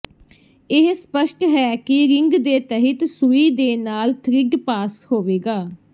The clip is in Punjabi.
ਇਹ ਸਪਸ਼ਟ ਹੈ ਕਿ ਰਿੰਗ ਦੇ ਤਹਿਤ ਸੂਈ ਦੇ ਨਾਲ ਥਰਿੱਡ ਪਾਸ ਹੋਵੇਗਾ